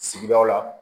Sigidaw la